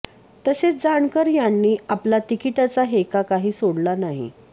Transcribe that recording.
तसेच जानकर यांनी आपला तिकिटाचा हेका काही सोडला नाही